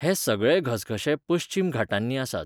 हे सगळे घसघशे पश्चीम घाटांनी आसात.